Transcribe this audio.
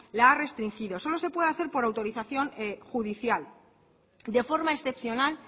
la ha restringidos solo se puede hacer por autorización judicial de forma excepcional